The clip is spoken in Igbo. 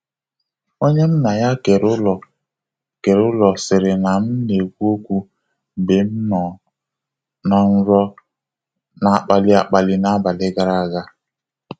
Onye m na ya kere ụlọ kere ụlọ sịrị na m na-ekwu okwu mgbe m nọ n'nrọ na-akpali akpali n'abalị gara aga.